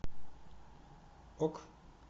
ок